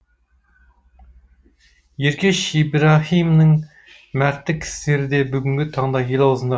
еркеш ибраһимның мәрттік істері де бүгінгі таңда ел аузында